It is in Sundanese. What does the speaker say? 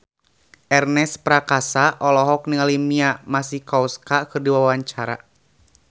Ernest Prakasa olohok ningali Mia Masikowska keur diwawancara